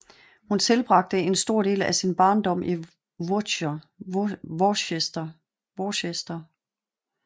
Hun tilbragte en stor del af sin barndom i Worcester